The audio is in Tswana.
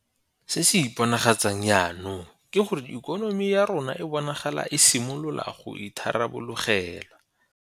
Se se iponagatsang jaanong ke gore ikonomi ya rona e bonagala e simolola go itharabologelwa.